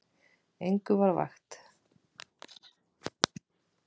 Engum var vægt.